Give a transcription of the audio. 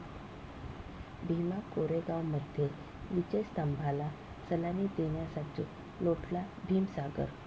भीमा कोरेगावमध्ये विजयस्तंभाला सलामी देण्यासाठी लोटला भीमसागर